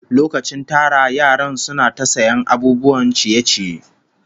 Lokacin tara yaran suna ta sayan abubuwan ciye-ciye